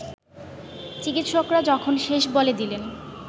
চিকিৎসকরা যখন ‘শেষ’ বলে দিলেন